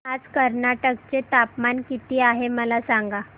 आज कर्नाटक चे तापमान किती आहे मला सांगा